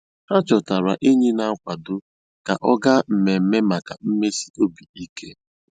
Há chọtárá ényí nà-àkwádó kà ọ́ gáá mmèmme màkà mmèsì óbì íké.